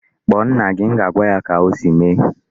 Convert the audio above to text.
Kpọọ nna gị! M ga-agwa ya ka o si mee.